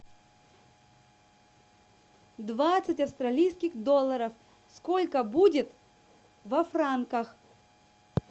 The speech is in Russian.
двадцать австралийских долларов сколько будет во франках